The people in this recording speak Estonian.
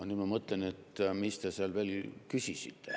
Nüüd ma mõtlen, et mis te seal veel küsisite.